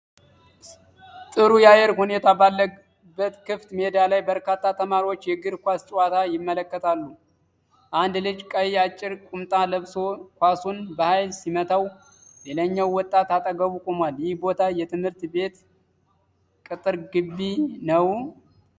ጥሩ የአየር ሁኔታ ባለበት ክፍት ሜዳ ላይ በርካታ ተማሪዎች የእግር ኳስ ጨዋታ ይመለከታሉ። አንድ ልጅ ቀይ አጭር ቁምጣ ለብሶ ኳሱን በኃይል ሲመታው፣ ሌላኛው ወጣት አጠገቡ ቆሟል፤ ይህ ቦታ የትምህርት ቤት ቅጥር ግቢ ነው?